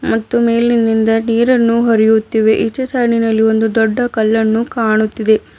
ಮತ್ತು ಮೇಲಿನಿಂದ ನೀರನ್ನು ಹರಿಯುತ್ತಿವೆ ಈಚೆ ಸಾಲಿನಲ್ಲಿ ಒಂದು ದೊಡ್ಡ ಕಲ್ಲನ್ನು ಕಾಣುತ್ತಿದೆ.